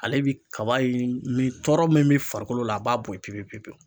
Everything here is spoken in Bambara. Ale bi kaba in ni tɔɔrɔ min be farikolo la a b'a bɔ yen pepepepewu